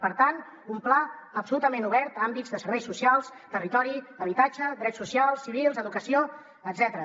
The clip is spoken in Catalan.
per tant un pla absolutament obert a àmbits de serveis socials territori habitatge drets socials civils educació etcètera